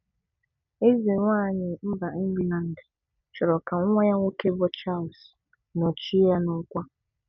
Ezenwaanyị mba England chọrọ ka nwa ya nwoke bụ Charles nọchie ya n'ọkwa